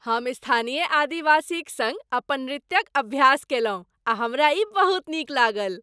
हम स्थानीय आदिवासीक सङ्ग अपन नृत्यक अभ्यास कयलहुँ आ हमरा ई बहुत नीक लागल।